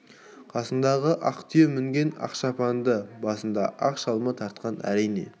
қасындағы ақ түйе мінген ақ шапанды басына ақ шалма тартқан әрине